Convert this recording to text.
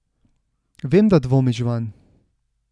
Vem, da dvomiš vanj.